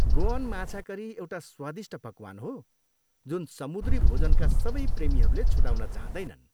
Goan माछा curry एउटा स्वादिष्ट पकवान हो जुन समुद्री भोजनका सबै प्रेमीहरूले छुटाउन चाहँदैनन्।